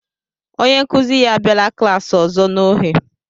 onye nkuzi ya abịala klaasị ọzọ n'ohe